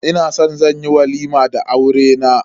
Ina san zan yi walima da aurena.